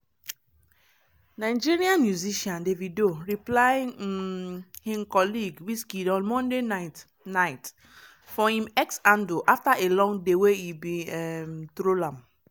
nigerian musician davido reply um im colleague wizkid on monday night night for im x handle afta a long day wey e bin um troll am.